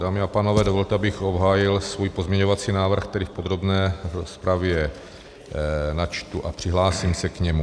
Dámy a pánové, dovolte, abych obhájil svůj pozměňovací návrh, který v podrobné rozpravě načtu a přihlásím se k němu.